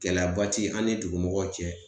Gɛlɛyaba te an ni dugumɔgɔw cɛ